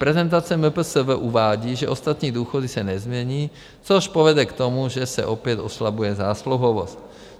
Prezentace MPSV uvádí, že ostatní důchody se nezmění, což povede k tomu, že se opět oslabuje zásluhovost.